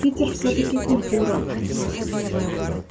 питер всё-таки культура